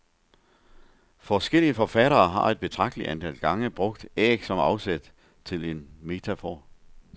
Forskellige forfattere har et betragteligt antal gange brugt æg som afsæt til en metafor.